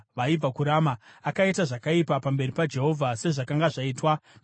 Akaita zvakaipa pamberi paJehovha, sezvakanga zvaitwa namadzibaba ake.